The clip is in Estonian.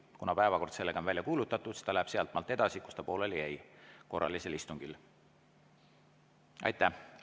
Kuna päevakord on välja kuulutatud, siis minnakse sealtmaalt edasi, kus korralisel istungil pooleli jäädi.